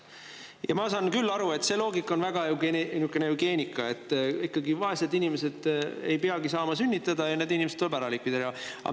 Ma saan aru, et see loogika on selline eugeeniline: vaesed inimesed ei peagi saama sünnitada ja need inimesed tuleb ära likvideerida.